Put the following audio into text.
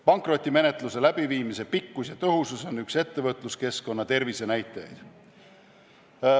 Pankrotimenetluse läbiviimise pikkus ja tõhusus on üks ettevõtluskeskkonna tervisenäitajaid.